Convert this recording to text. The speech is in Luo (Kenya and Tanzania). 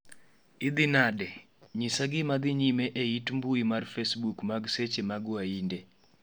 idhi nade, nyisa gima dhi nyime e ite mbui mar facebook mag seche mag wahinde